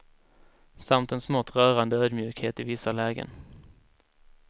Samt en smått rörande ödmjukhet i vissa lägen.